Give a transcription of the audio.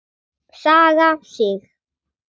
Saga Sig.